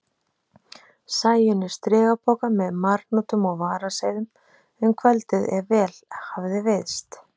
Sæunni strigapoka með marhnútum og varaseiðum um kvöldið ef vel hafði veiðst.